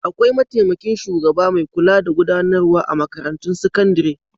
Akwai mataimakin shugaba mai kula da gudanarwa a makarantun sakandare.